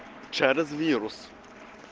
чарльз вирус